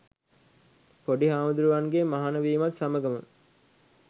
පොඩි හාමුදුරුවන්ගේ මහණ වීමත් සමගම,